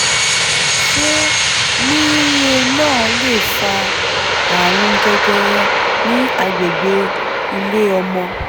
ṣé mirena lè fa ààrùn jẹjẹrẹ ní agbègbè ilé ọmọ?